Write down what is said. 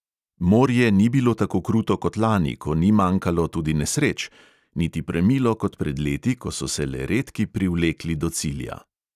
Morje ni bilo tako kruto kot lani, ko ni manjkalo tudi nesreč, niti premilo kot pred leti, ko so se le redki privlekli do cilja.